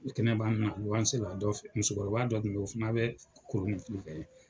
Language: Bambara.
U kɛnɛ b'a na musokɔrɔba dɔ Kun be yen, o fana bɛ kolonifili kɛ yen.